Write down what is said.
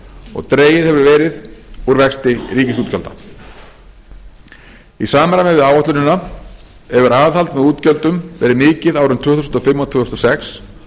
og dregið hefur úr vexti ríkisútgjalda í samræmi við áætlunina hefur aðhald með útgjöldum verið mikið árin tvö þúsund og fimm og tvö þúsund og sex